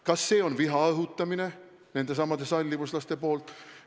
Kas see on viha õhutamine nendesamade sallivuslaste poolt?